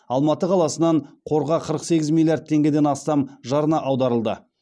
алматы қаласынан қорға қырық сегіз миллиард теңгеден астам жарна аударылды